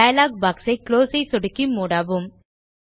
dialogue box ஐ close ஐ சொடுக்கி மூடவும்